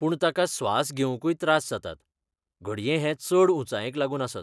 पूण ताका स्वास घेवंकूय त्रास जातात, घडये हे चड ऊंचायेक लागून आसत.